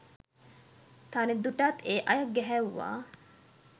තරිඳුටත් ඒ අය ගැහැව්වා.